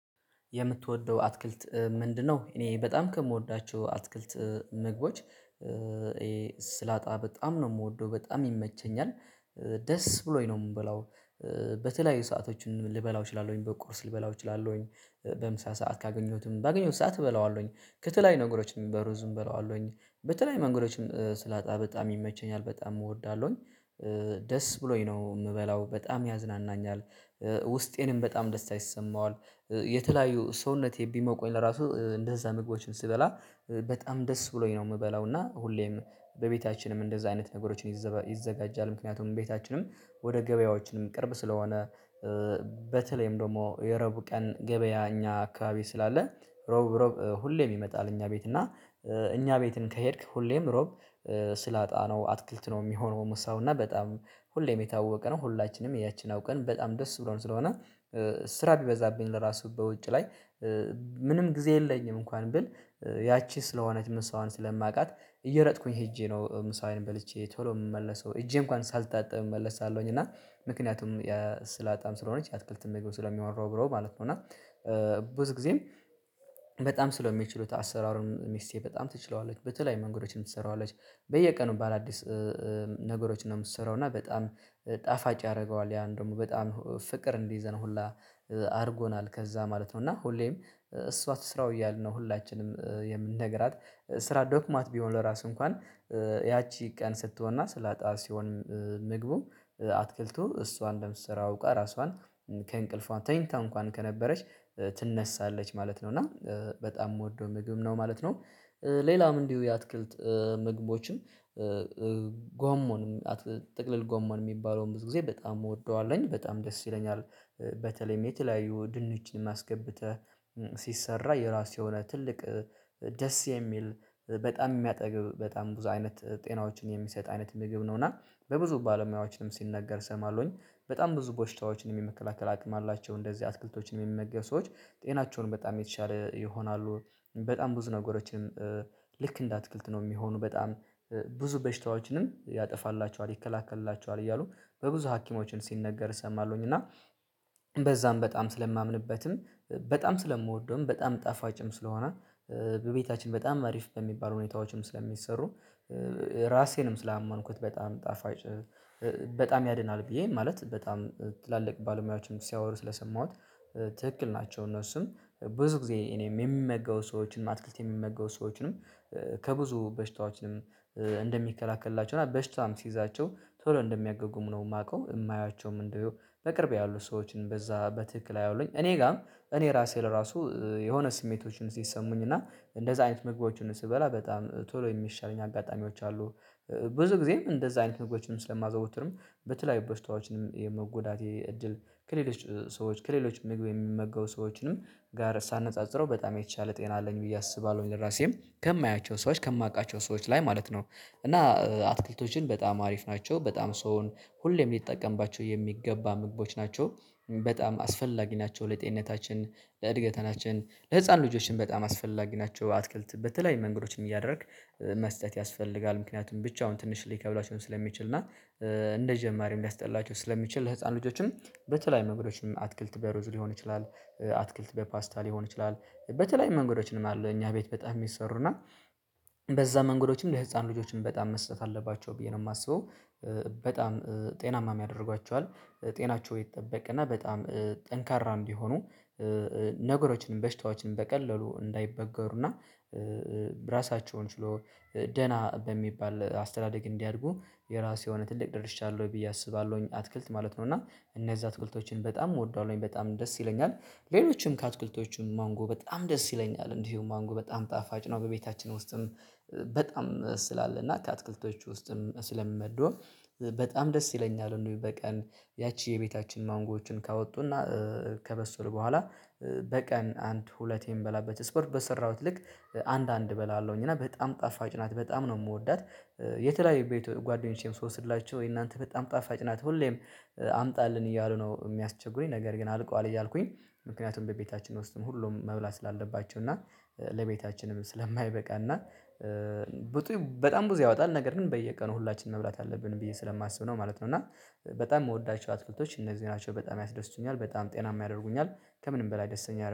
የምትወደው አትክልት ምንድነው? እኔ በጣም ከምወዳቸው አትክልት ምግቦች። ሰላጣ በጣም ነው የምወደው በጣም ይመቸኛል ደስ ብሎኝ ነው እምበላው። በተለያዩ ሰአቶችን ልበላው እችላለሁኝ በቁርስ ልበላው እችላለሁኝ በምሳ ሰዓት ካገኘሁትም ባገኘሁት ሰዓት እበለዋለሁኝ ከተለያዩ ነገሮችም በሩዝም እበለዋለሁኝ በተለያዩ መንገዶችም ሰላጣ በጣም ይመቸኛል በጣም እወዳለሁኝ። ደስ ብሎኝ ነው እምበላው በጣም ያዝናናኛል ውስጤንም በጣም ደስታ ይሰማዋል የተለያዩ ሰውነቴ ቢሞቁኝ ለራሱ እንደዛ ምግቦችን ስበላ በጣም ደስ ብሎኝ ነው እምበላው። እና ሁሌም በቤታችንም እንደዛ አይነት ነገሮችን ይዘጋጃል ምክንያቱም ቤታችንም ወደ ገበያዎችንም ቅርብ ስለሆነ። በተለይም ደግሞ የዕረቡ ቀን ገበያ እኛ አካባቢ ስላለ እሮብ እሮብ ሁሌም ይመጣል እኛ ቤት እና እኛ ቤትን ከሄድክ ሁሌም እሮብ ሰላጣ ነው አትክልት ነው እሚሆነው ሰው እና በጣም ሁሌም የታወቀ ነው ሁላችንም ያቺን አውቀን በጣም ደስ ብሎን ስለሆነ። ስራ ቢበዛብኝ ለራሱ በውጭ ላይ ምንም ጊዜ የለኝም እንኳን ብል ያቺ ስለሆነ ምሳዋን ስለማውቃት እየሮጥኩኝ ሄጄ ነው ምሳዬን በልቼ ቶሎ የምመለሰው እጄ እንኳን ሳልታጥብ እመለሳለሁኝ እና ምክንያቱም ሰላጣም ስለሆነች የአትክልትም ምግብ ስለሚያወደው ብለው ማለት ነው። እና ብዙ ጊዜም በጣም ስለሚችሉት አሰራሩን ሚስቴ በጣም ትችላለች በተለዪ መንገዶችም ትሰራዋለች። በየቀኑ ባአዳዲስ ነገሮችን ነው እምትሰራው እና በጣም ጣፋጭ ያደርገዋል ያን ደግሞ በጣም ፍቅር እንዲይዘን ሁላ አድርጎናል ከዛ ማለት ነው። እና ሁሌም እሷ ትስራው እያልን ነው ሁላችንም የምንነግራት ስራ ደክሟት ቢሆን ለራሱ እንኳን ያቺ ቀን ስትሆንና ሰላጣ ሲሆን ምግቡ አትክልቱ እሷ እንደምትሰራው አውቃ እራሷን ከእንቅልፏ ተኝታ እንኳን ከነበረች ትነሳለች ማለት ነው እና በጣም እምወደው ምግብ ነው ማለት ነው። ሌላም እንዲሁ የአትክልት ምግቦችም ጎመንም ጥቅል ጎመን እሚባለውን ብዙ ጊዜ በጣም እወደዋለሁኝ በጣም ደስ ይለኛል። በተለይም የተለያዩ ድንችንም አስገብተህ ሲሰራ የራሱ የሆነ ትልቅ ደስ የሚል በጣም እሚያጠግብ በጣም ብዙ አይነት ጤናዎችን የሚሰጥ አይነት ምግብ ነው። እና በብዙ ባለሙያዎችንም ሲነገር እሰማለሁኝ በጣም ብዙ በሽታዎችንም የመከላከል አቅም አላቸው እንደዚህ አትክልቶችን እሚመገብ ሰዎች ጤናቸውን በጣም የተሻለ ይሆናሉ በጣም ብዙ ነገሮችን ልክ እንደ አትክልት ነው እሚሆኑ በጣም ብዙ በሽታዎችንም ያጠፋላቸዋል ይከላከልላቸዋል እያሉ በብዙ ሀኪሞችን ሲነገር እሰማለሁኝ። እና በዛም በጣም ስለማምንበትም በጣም ስለምወደውም በጣም ጣፋጭም ስለሆነ በቤታችን በጣም አሪፍ በሚባሉ ሁኔታዎችም ስለሚሰሩ ራሴንም ስላመንኩት በጣም ጣፋጭ በጣም ያድናል ብዬ ማለት በጣም ትላልቅ ባለሙያዎችንም ሲያወሩ ስለሰማሁት ትክክል ናቸው እነሱም ብዙ ጊዜ እኔም የሚመገቡ ሰዎችንም አትክልት የሚመገቡ ሰዎችንም ከብዙ በሽታዎችንም እንደሚከላከልላቸው እና በሽታም ሲይዛቸው ቶሎ እንደሚያገግሙ ነው። እማውቀው እማያቸውም እንደው በቅርብ ያሉ ሰዎችን በዛ በትክክል አያውለኝ እኔ ጋርም እኔ ራሴ ለራሱ የሆነ ስሜቶችን ሲሰሙኝ እና እንደዛ አይነት መግቦችን ስበላ በጣም ቶሎ የሚሻለኝ አጋጣሚዎች አሉ። ብዙ ጊዜም እንደዛ አይነት ምግቦችንም ስለማዘውትርም በተለያዩ ቦሽታዎችንም የመጎዳቴ እድል ከሌሎች ሰዎች ከሌሎች ምግብ እሚመገቡ ሰዎችንም ጋር ሳነጻጽረው በጣም የተሻለ ጤና አለኝ ብዬ አስባለሁኝ ለራሴም ከማያቸው ሰዎች ከማውቃቸው ሰዎች ላይ ማለት ነው። እና አትክልቶችን በጣም አሪፍ ናቸው በጣም ሰውን ሁሌም ሊጠቀምባቸው የሚገባ ምግቦች ናቸው። በጣም አስፈላጊ ናቸው ለጤንነታችን ለእድገታችን ለህፃን ልጆችም በጣም አስፈላጊ ናቸው። አትክልት በተለያዩ መንገዶች እያደረክ መስጠት ያስፈልጋል ምክንያቱም ብቻውን ትንሽ ሊከብዳቸው ስለሚችል እና እንደጀማሪም ሊያስጠላቸው ስለሚችል ለህፃን ልጆችም በተለያዩ መንገዶችም አትክልት በሮዝ ሊሆን ይችላል አትክልት በፓስታ ሊሆን ይችላል በተለያዩ መንገዶችም አለ እኛ ቤት በጣም እሚሰሩና በዛ መንገዶችም የህፃን ልጆችም በጣም መስጠት አለባቸው ብዬ ነው እማስበው በጣም ጤናማም ያደርጓቸዋል። ጤናቸው ይጠበቅና በጣም ጠንካራ እንዲሆኑ ነገሮችንም በሽታዎችንም በቀላሉ እንዳይበገሩና ራሳቸውን ችለው ደና በሚባል አስተዳደግ እንዲያድጉ የራሱ የሆነ ትልቅ ደርሻ አለው ብዬ አስባለሁኝ። አትክልት ማለት ነው እና እነዛ አትክልቶችን በጣም እወደዋለሁኝ በጣም ደስ ይለኛል። ሌሎችም ከአትክልቶቹም ማንጎ በጣም ደስ ይለኛል እንዲሁም ማንጎ በጣም ጣፋጭ ነው በቤታችን ውስጥም በጣም ስላለ እና ከአትክልቶቹ ውስጥም ስለምመድበው በጣም ደስ ይለኛል። እንግዲህ በቀን ያቺ የቤታችን ማንጎዎችን ካወጡና ከበስሉ በኋላ በቀን አንድ ሁለቴ እምበላበት ስፖርት በሰራሁት ልክ አንድ አንድ እበላለሁኝ እና በጣም ጣፋጭ ናት በጣም ነው እምወዳት። የተለያየ ቤት ጓደኞቼም ስወስድላቸው የእናንተ በጣም ጣፋጭ ናት ሁሌም አምጣልን እያሉ ነው እሚያስቸግሩኝ ነገር ግን አልቋል እያልኩኝ ምክንያቱም በቤታችን ውስጥም ሁሉም መብላት ስላለባቸው እና ለቤታችንም ስለማይበቃ እ በጣም ብዙ ያወጣል ነገር ግን በየቀኑ ሁላችንም መብላት አለብን ብዬ ስለማስብ ነው ማለት ነው። እና በጣም እምወዳቸው አትክልቶች እነዚህ ናቸው በጣም ያስደስቱኛል በጣም ጤና የሚያደርጉኛል ከምንም በላይ ደስተኛ